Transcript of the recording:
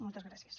moltes gràcies